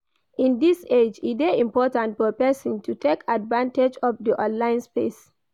In this age e de important for persin to take advantage of di online space